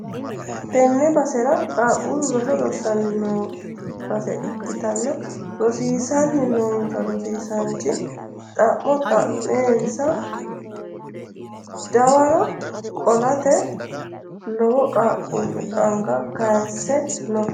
tenne basera qaaqqullu roso rossanni noo base ikkitanna, rosiisanni noonsa rosiisaanchi xa'mo xa'meenansa dawaro qolate lowo qaaqqulli anga kayise no.